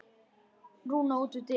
Rúna út við dyr.